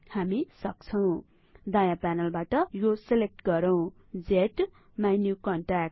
हामी सक्छौं दायाँ प्यानलबाट यो सेलेक्ट गरौँ ज्माइन्युकन्ट्याक्ट